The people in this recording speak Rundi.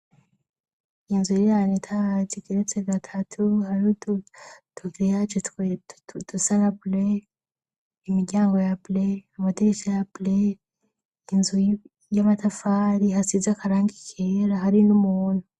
Inzu irirana itaazigeretse gatatu harudu toveyaji tweudu salabley imiryango ya bley amadigica ya bley inzu y'amatafari hasiza akaranka ikihera hari n'umuntu.